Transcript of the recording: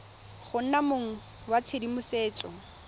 go nna mong wa tshedimosetso